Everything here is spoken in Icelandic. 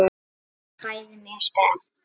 Við erum bæði mjög spennt.